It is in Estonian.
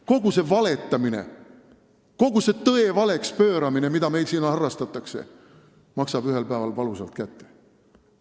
Kogu see valetamine, kogu see tõe valeks pööramine, mida meil siin harrastatakse, maksab ühel päeval valusalt kätte.